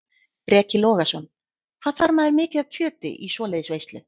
Breki Logason: Hvað þarf maður mikið af kjöti í svoleiðis veislu?